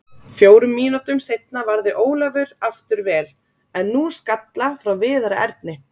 Fjórum mínútum seinna varði Ólafur aftur vel, en nú skalla frá Viðari Erni.